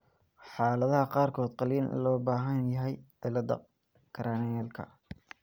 Xaaladaha qaarkood qalliin ayaa loo baahan yahay cilladda cranialka.